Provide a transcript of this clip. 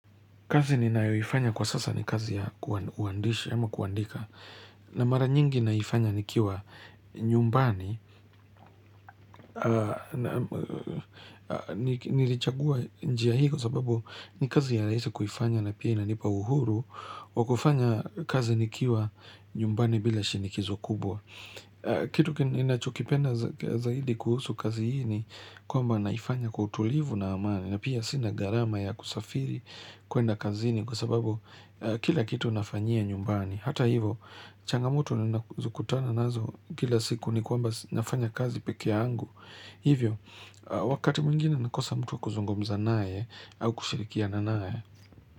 Kazi ni naifanya kwa sasa ni kazi ya kuandika, na mara nyingi naifanya nikiwa nyumbani, nilichagua njia hiko sababu ni kazi ya raisi kufanya na pia inanipa uhuru wa kufanya kazi nikiwa nyumbani bila shinikizo kubwa. Kitu kinachukipenda zaidi kuhusu kazi hini kwamba naifanya kutulivu na amani na pia sina garama ya kusafiri kuenda kazini Kwa sababu kila kitu nafanyia nyumbani Hata hivo, changamoto na zukutana nazo kila siku ni kwamba nafanya kazi peke angu Hivyo, wakati mwingine nakosa mtu kuzungumza nae au kushirikia na nae.